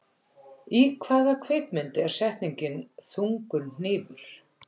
Í hvaða kvikmynd er settningin, þungur hnífur?